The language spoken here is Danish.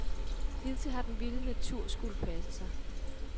Hidtil har den vilde natur skullet passe sig.